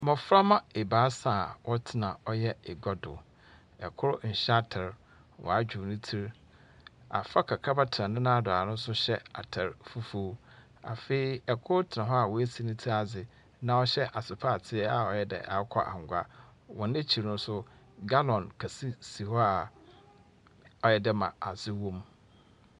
Mbɔframba ebaasa a wɔtena ɔyɛ egua do. Kor nhyɛ atar. Wadwow ne tsir. Afra kakraba tena ne nan do a ɔno nso hyɛ atar fufuw. Afei kor tena hɔ a woesi ne tsir adze na ɔhyɛ asopaatee a ɔyɛ dɛ akokɔ angua. Wɔn ekyir nso, gallon kɛse si hɔ a ayɛ dɛ ma adze wom.